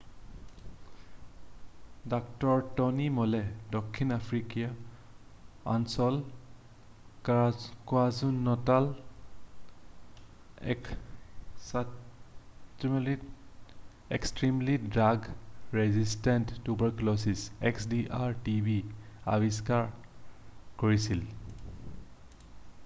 ডাঃ Tony Moll দক্ষিণ আফ্ৰিকীয় অঞ্চলৰ কাৱাজুলু-নাটালত extremely drug resistant tuberculosis xdr-tb আৱিষ্কাৰ কৰিছিল।